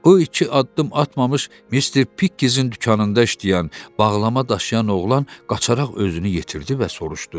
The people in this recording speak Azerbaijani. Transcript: O iki addım atmamış Mister Pikkezin dükanında işləyən bağlama daşıyan oğlan qaçaraq özünü yetirdi və soruşdu: